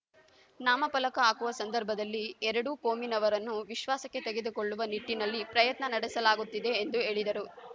ನಾಮಪಲಕ ಹಾಕುವ ಸಂದರ್ಭದಲ್ಲಿ ಎರಡೂ ಕೋಮಿನವರನ್ನು ವಿಶ್ವಾಸಕ್ಕೆ ತೆಗೆದುಕೊಳ್ಳುವ ನಿಟ್ಟಿನಲ್ಲಿ ಪ್ರಯತ್ನ ನಡೆಸಲಾಗುತ್ತದೆ ಎಂದು ಹೇಳಿದರು